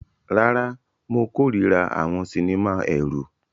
Rárá, mo kórìíra àwọn sinimá ẹ̀rù.